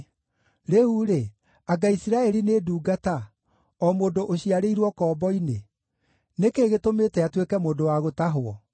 Rĩu-rĩ, anga Isiraeli nĩ ndungata, o mũndũ ũciarĩirwo ũkombo-inĩ? Nĩ kĩĩ gĩtũmĩte atuĩke mũndũ wa gũtahwo?